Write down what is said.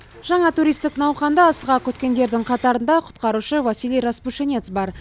жаңа туристік науқанды асыға күткендердің қатарында құтқарушы василий распушинец бар